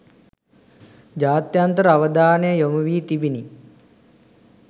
ජාත්‍යන්තර අවධානය යොමුවී තිබිණි.